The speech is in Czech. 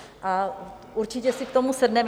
A určitě si k tomu sedneme.